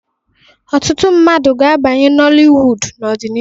Ọtụtụ ndị mmadụ ga-abanye Noliwudu n'ọdịnihu.